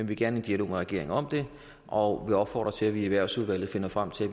vil gerne i dialog med regeringen om det og opfordrer til at vi i erhvervsudvalget finder frem til